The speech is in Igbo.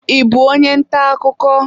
Ị bụ onye ntà akụkọ?